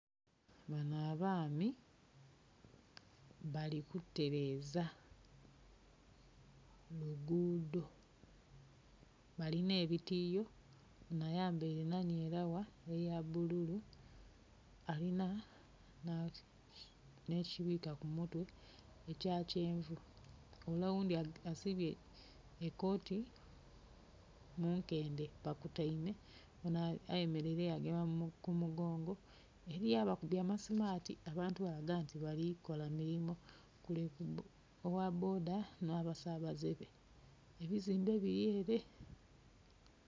Bano abaami bali kutereza lugudho balina ebitiyo ono ayambeire nnanyeragha eya bululu alina ne kibwika ku mutwe ekya kyenvu, ole oghundi asibye ekooti mu nkendhe. Ba kuteime ono ayemeleire ya gema ku mugongo, eriyo abakubye amasimati abantu balaga nti balikola milimo. Ogha boda n'abasabaze be, ebizimbe biri ere